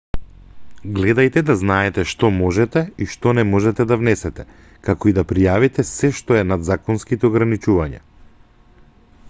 гледајте да знаете што можете и што не можете да внесете како и да пријавите сѐ што е над законските ограничувања